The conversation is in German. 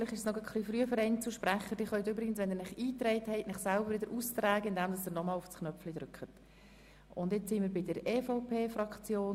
Allerdings können ein paar Kollegen dieser Planungserklärung zustimmen.